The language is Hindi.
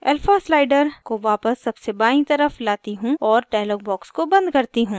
alpha slider को वापस सबसे बायीं तरफ लाती हूँ और dialog box को बंद करती हूँ